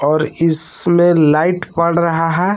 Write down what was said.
और इसमें लाइट पड़ रहा है।